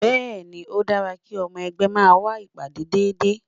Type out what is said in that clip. Bẹ́ẹ̀ ni, ó dára kí ọmọ ẹgbẹ́ máa wá ìpàdé déédéé